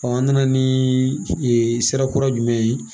an nana ni sira kura jumɛn ye